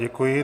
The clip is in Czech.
Děkuji.